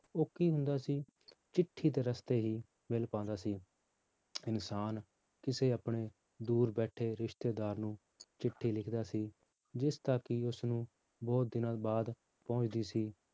ਉਹ ਕੀ ਹੁੰਦਾ ਸੀ ਚਿੱਠੀ ਦੇ ਰਸਤੇ ਹੀ ਮਿਲ ਪਾਉਂਦਾ ਸੀ ਇਨਸਾਨ ਕਿਸੇ ਆਪਣੇ ਦੂਰ ਬੈਠੇ ਰਿਸਤੇਦਾਰ ਨੂੰ ਚਿੱਠੀ ਲਿਖਦਾ ਸੀ ਜਿਸਦਾ ਕਿ ਉਸਨੂੰ ਬਹੁਤ ਦਿਨਾਂ ਬਾਅਦ ਪਹੁੰਚਦੀ ਸੀ